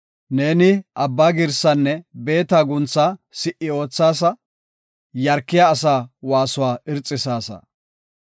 Neeni abba girsaanne beeta guntha si77i oothaasa; yarkiya asaa waasuwa irxisaasa.